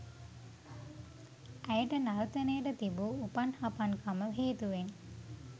ඇයට නර්තනයට තිබූ උපන්හපන්කම හේතුවෙන්